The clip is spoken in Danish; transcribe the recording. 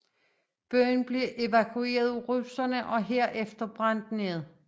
Byen blev dog evakueret af russerne og herefter brændt ned